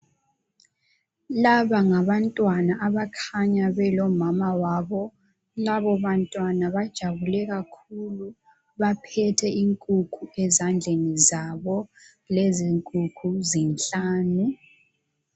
Laba ngabantwana abakhanya belomama wabo .Labo bantwana bajabule kakhulu, baphethe inkukhu ezandleni zabo .Lezi nkukhu zinhlanu.